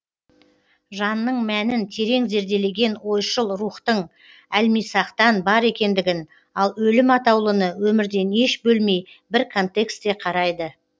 жанның мәнін терең зерделеген ойшыл рухтың әлмисақтан бар екендігін ал өлім атаулыны өмірден еш бөлмей бір контексте қарайды